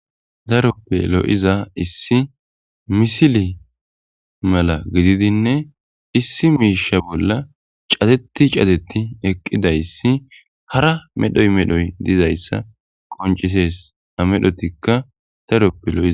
Daroppe lo7iza issi misili mala gididinne issi miisha bolla cateti cateti eqqidayssi hara medhoy medhoy dizayssa qoncisees a medhotikka daroppe lo7ia